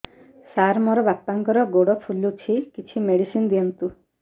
ସାର ମୋର ବାପାଙ୍କର ଗୋଡ ଫୁଲୁଛି କିଛି ମେଡିସିନ ଦିଅନ୍ତୁ